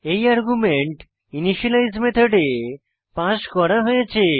এই argument initialise মেথডে pass করা হয়েছে